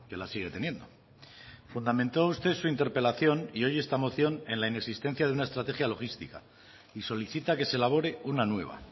las sigue teniendo fundamentó usted su interpelación y hoy esta moción en la inexistencia de una estrategia logística y solicita que se elabore una nueva